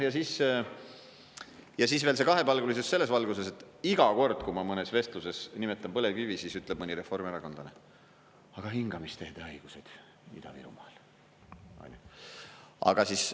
Ja siis veel kahepalgelisus selles valguses, et iga kord, kui ma mõnes vestluses nimetan põlevkivi, ütleb mõni reformierakondlane: "Aga hingamisteede haigused Ida-Virumaal!